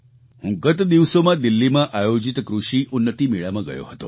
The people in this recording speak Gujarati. હું ગત દિવસોમાં દિલ્હીમાં આયોજિત કૃષિ ઉન્નતિ મેળામાં ગયો હતો